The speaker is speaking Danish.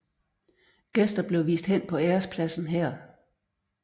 Gæster blev vist hen på ærespladsen her